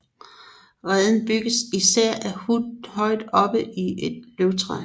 Reden bygges især af hunnen højt i et løvtræ